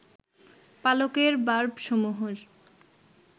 পালকের বার্বসমূহের